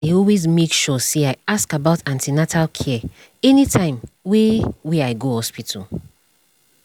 i dey always make sure say i ask about an ten atal care anytime wey wey i go hospital